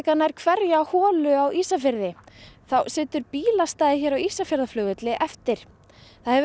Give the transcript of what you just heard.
nær hverja holu á Ísafirði þá situr bílastæðið hér á Ísafjarðarflugvelli eftir það hefur